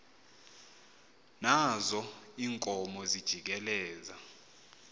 nazo iinkomo zijikeleza